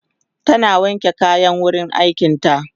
tana wanke kayan wurin aikin ta